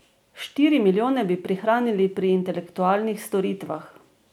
Štiri milijone bi prihranili pri intelektualnih storitvah.